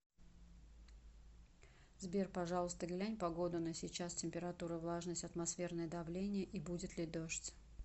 сбер пожалуйста глянь погоду на сейчас температура влажность атмосферное давление и будет ли дождь